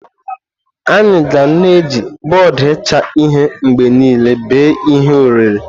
Anyị ga na-eji bọọdụ ịcha ihe mgbe niile bee ihe oriri.